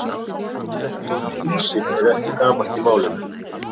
Íslenska orðið hýsill er ekki gamalt í málinu.